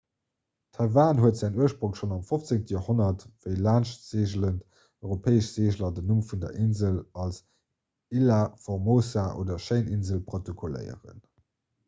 taiwan huet säin ursprong schonn am 15 joerhonnert wéi laanschtseegelend europäesch seegler den numm vun der insel als ilha formosa oder schéin insel protokolléieren